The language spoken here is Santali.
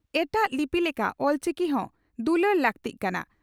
ᱮᱴᱟᱜ ᱞᱤᱯᱤ ᱞᱮᱠᱟ ᱚᱞᱪᱤᱠᱤ ᱦᱚᱸ ᱫᱩᱞᱟᱹᱲ ᱞᱟᱹᱠᱛᱤᱜ ᱠᱟᱱᱟ ᱾